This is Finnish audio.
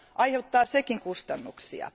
Aiheuttaa sekin kustannuksia.